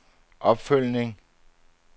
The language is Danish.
opfølgning